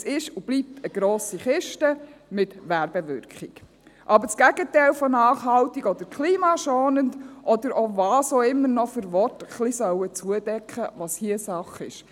Es ist und bleibt eine grosse Kiste mit Werbewirkung, aber das Gegenteil von nachhaltig oder klimaschonend, oder welche Worte auch immer noch ein wenig zudecken sollen, was hier Sache ist.